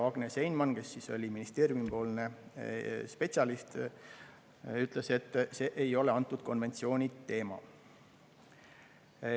Agnes Einman, ministeeriumi spetsialist, ütles, et see ei ole antud konventsiooni teema.